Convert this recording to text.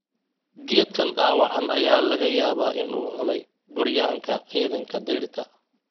Geedkan dhaawacan ayaa laga yaabaa in uu cunay Gooryaanka ciidanka dayrta.